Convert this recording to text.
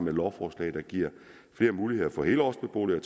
et lovforslag der giver flere muligheder for at helårsboliger